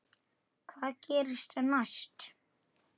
Hvað gerist næst?